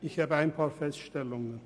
Ich habe ein paar Feststellungen.